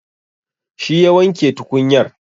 Shi ya wanke tukunyar.